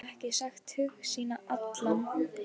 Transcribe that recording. Geta ekki sagt hug sinn allan.